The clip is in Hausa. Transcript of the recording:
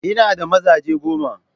Ina da mazaje goma.